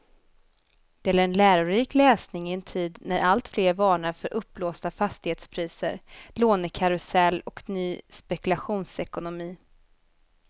Det är en lärorik läsning i en tid när alltfler varnar för uppblåsta fastighetspriser, lånekarusell och ny spekulationsekonomi.